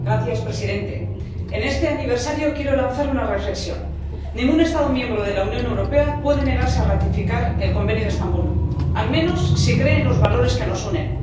Señor presidente, en este aniversario quiero lanzar una reflexión ningún Estado miembro de la Unión Europea puede negarse a ratificar el Convenio de Estambul, al menos, si cree en los valores que nos unen